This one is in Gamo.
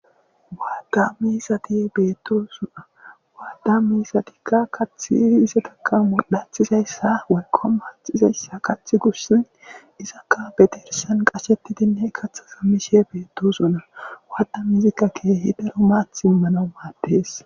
Matt's mizzati bettosona matta mizati kaththi izettaka modhdhathizayisa woyikko maththizayisa kaththi goshshan izakka be dirssan qachettidi kaththa mishe bettosona wadda mizayi kehi daro maththa immanawu maddes.